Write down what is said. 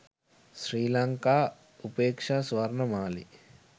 sri lanka upeksha swarnamali